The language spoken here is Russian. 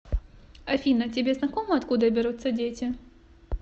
афина тебе знакомо откуда берутся дети